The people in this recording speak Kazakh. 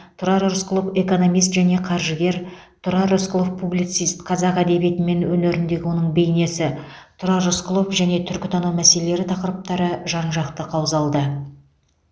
тұрар рысқұлов экономист және қаржыгер тұрар рысқұлов публицист қазақ әдебиеті мен өнеріндегі оның бейнесі тұрар рысқұлов және түркітану мәселелері тақырыптары жан жақты қаузалды